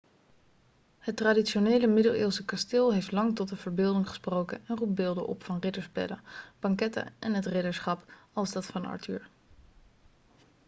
het traditionele middeleeuwse kasteel heeft lang tot de verbeelding gesproken en roept beelden op van ridderspelen banketten en het ridderschap als dat van arthur